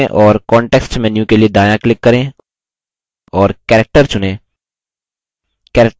text चुनें और context menu के लिए दायाँclick करें और characterचुनें